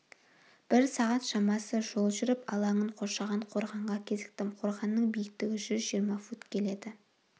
бір сағат шамасы жол жүріп алаңын қоршаған қорғанға кезіктім қорғанның биіктігі жүз жиырма фут келеді